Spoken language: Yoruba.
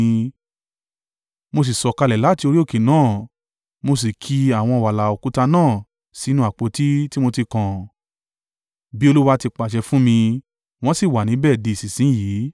Mo sì sọ̀kalẹ̀ láti orí òkè náà, mo sì ki àwọn wàláà òkúta náà sínú àpótí tí mo ti kàn, bí Olúwa ti pàṣẹ fún mi, wọ́n sì wà níbẹ̀ di ìsinsin yìí.